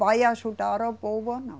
Vai ajudar o povo ou não.